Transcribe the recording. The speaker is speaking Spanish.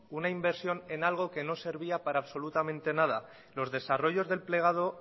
una inversión en algo que no servía para absolutamente nada los desarrollos del plegado